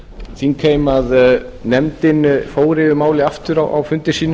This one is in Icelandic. þingheim að nefndin fór yfir málið aftur á fundi sínum